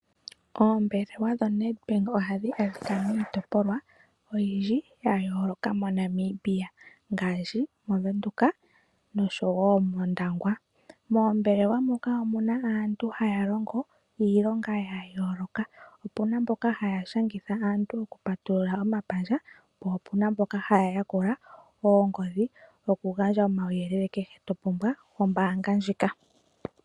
Oombelewa dhoNedbank ohadhi adhika miitopolwa oyindji ya yooloka moNambia ngaashi moVenduka noshowo mOndangwa. Moombelewa moka omu na aantu haya longo iilonga ya yooloka. Opu na mboka haya shangitha aantu okupatulula omapandja, po opu na mboka haya yakula oongodhi okugandja uuyelele kehe to pumbwa wombaanga ndjika.